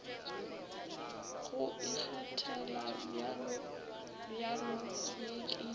go ikgethela bjalobjalo ye ke